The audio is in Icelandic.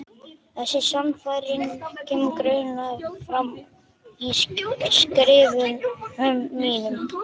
Þessi sannfæring kemur greinilega fram í skrifum mínum.